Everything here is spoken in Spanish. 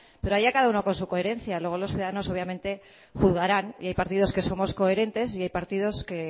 pero allá cada uno con su coherencia luego los ciudadanos obviamente juzgarán y hay partidos que somos coherentes y hay partidos que